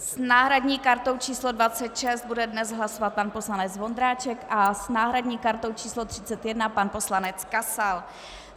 S náhradní kartou číslo 26 bude dnes hlasovat pan poslanec Vondráček a s náhradní kartou číslo 31 pan poslanec Kasal.